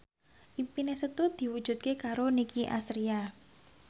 impine Setu diwujudke karo Nicky Astria